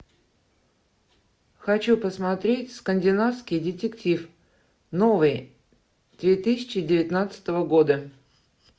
хочу посмотреть скандинавский детектив новый две тысячи девятнадцатого года